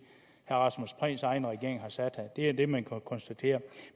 herre rasmus prehns egen regering det er det man kan konstatere